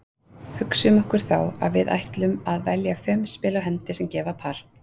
Hugsum okkur þá að við ætlum að velja fimm spil á hendi sem gefa par.